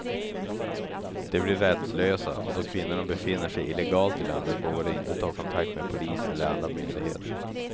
De blir rättslösa, och då kvinnorna befinner sig illegalt i landet vågar de inte ta kontakt med polis eller andra myndigheter.